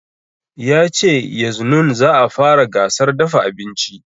Ya ce yaznun za a fara gasar dafa abinci